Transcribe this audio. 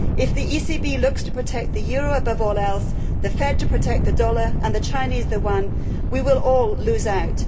If the ECB looks to protect the euro above all else, the Fed to protect the dollar and the Chinese the yuan, we will all lose out.